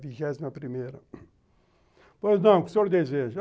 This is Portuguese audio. Vigésima primeira, pois, não, o que o senhor deseja?